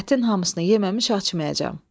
Ətin hamısını yeməmiş açmayacam.